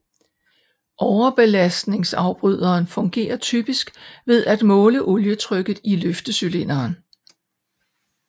Overbelastningsafbryderen fungerer typisk ved at måle olietrykket i løftecylinderen